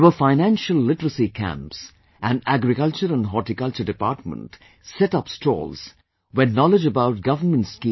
There were Financial Literacy camps and Agriculture and Horticulture Department set up stalls where knowledge about govt